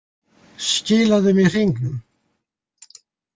Skilaðu mér hringnum.